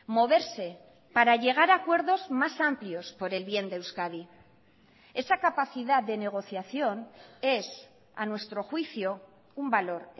moverse para llegar a acuerdos más amplios por el bien de euskadi esa capacidad de negociación es a nuestro juicio un valor